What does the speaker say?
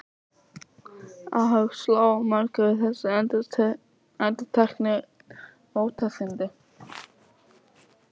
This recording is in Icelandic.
Óhug sló á marga við þessi endurteknu ótíðindi.